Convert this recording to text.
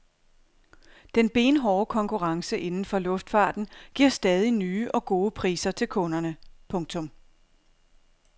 Den benhårde konkurrence inden for luftfarten giver stadig nye og gode priser til kunderne. punktum